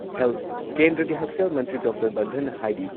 health ꯀꯦꯟꯗ꯭ꯔꯒꯤ ꯍꯛꯁꯦꯜ ꯃꯟꯇ꯭ꯔꯤ ꯗꯣꯛꯇꯔ ꯕꯟꯙꯟꯅ ꯍꯥꯏꯔꯤ